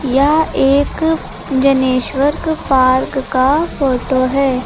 यह एक जनेश्वर पार्क का फोटो है।